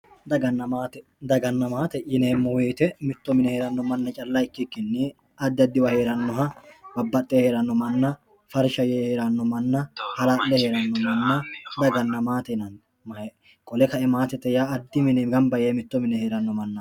Daganna maatte, daganna maatte yineemo woyite mito mine calla heerano manna ikkikinni adi adi heerano manna, babaxxe heeranno manna, farisha yee heeranno mannana ha'la'le heerano manna daganna maatte yinnanni qole kae maattete yaa hati mini gamba yee mito mine heerano manati